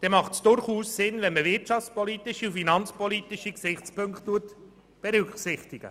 Bei einer Beteiligung macht es durchaus Sinn, wirtschafts- und finanzpolitische Gesichtspunkte zu berücksichtigen.